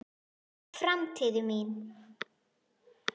Framtíðin mín?